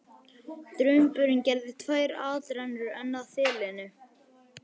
Drumburinn gerði tvær atrennur enn að þilinu.